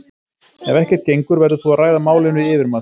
Ef ekkert gengur verður þú að ræða málin við yfirmann þinn.